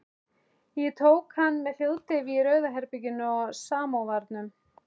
Ég tók hann með hljóðdeyfi í Rauða herberginu á Samóvarnum.